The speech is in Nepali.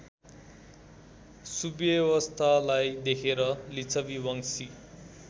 सुव्यवस्थालाई देखेर लिच्छबीवंशी